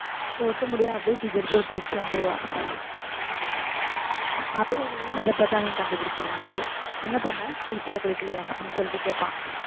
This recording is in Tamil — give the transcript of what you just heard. ஒட்டு முடிய அப்படியே தூக்கி எடுத்து ஒட்டி வச்சிட்டு வந்திருவா அதை பார்த்து அவன் கண்டுபிடிச்சிருவான் hero என்ன பண்ண குளிச்சியா குளிக்கலையா அப்படின்னு சொல்லிட்டு கேட்பான்